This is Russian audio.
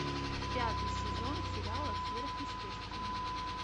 пятый сезон сериала сверхъестественное